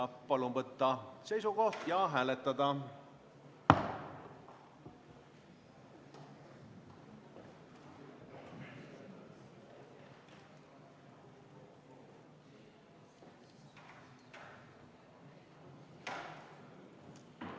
Palun võtta seisukoht ja hääletada!